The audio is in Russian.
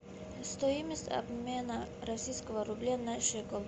стоимость обмена российского рубля на шекель